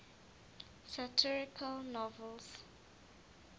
satirical novels